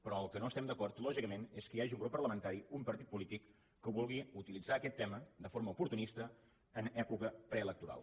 però amb el que no estem d’acord lògicament és que hi hagi un grup parlamentari un partit polític que vulgui utilitzar aquest tema de forma oportunista en època preelectoral